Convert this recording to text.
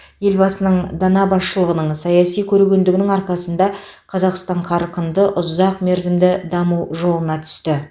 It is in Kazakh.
елбасының дана басшылығының саяси көрегендігінің арқасында қазақстан қарқынды ұзақ мерзімді даму жолына түсті